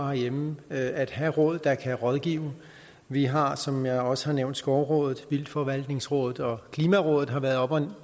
herhjemme at have råd der kan rådgive vi har som jeg også har nævnt skovrådet vildtforvaltningsrådet og klimarådet har været oppe at